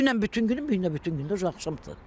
Dünən bütün günü, bu gün də bütün günü axşamdır.